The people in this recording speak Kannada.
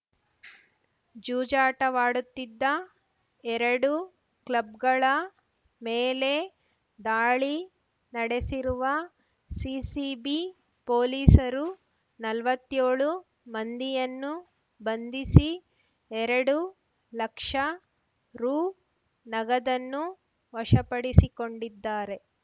ಜೂಜಾಟವಾಡುತ್ತಿದ್ದ ಎರಡು ಕ್ಲಬ್‌ಗಳ ಮೇಲೆ ದಾಳಿ ನಡೆಸಿರುವ ಸಿಸಿಬಿ ಪೊಲೀಸರು ನಲ್ವತ್ಯೋಳು ಮಂದಿಯನ್ನು ಬಂಧಿಸಿ ಎರಡು ಲಕ್ಷ ರೂ ನಗದನ್ನು ವಶಪಡಿಸಿಕೊಂಡಿದ್ದಾರೆ